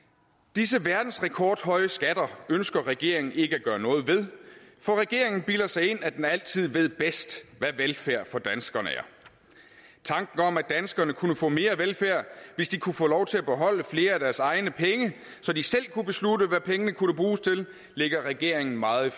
disse verdensrekordhøje skatter ønsker regeringen ikke at gøre noget ved for regeringen bilder sig ind at den altid ved bedst hvad velfærd for danskerne er tanken om at danskerne kunne få mere velfærd hvis de kunne få lov til at beholde flere af deres egne penge så de selv kunne beslutte hvad pengene kunne bruges til ligger regeringen meget